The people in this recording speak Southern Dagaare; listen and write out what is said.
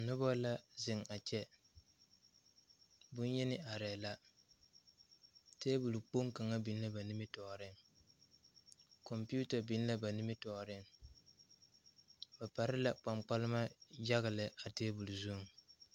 Nobɔ la zeŋ a kyɛ bonyeni arɛɛ la tabole kpoŋ kaŋa biŋ la ba nimitooreŋ kɔmpiuta biŋ la ba nimitooreŋ ba pare la kpaŋkpalma yaga lɛ a tabole zuŋ.